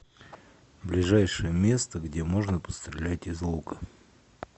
ближайшее место где можно пострелять из лука